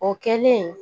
O kɛlen